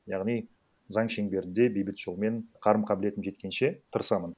яғни заң шеңберінде бейбіт жолмен қарым қабілетім жеткенше тырысамын